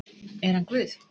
Er hann Guð?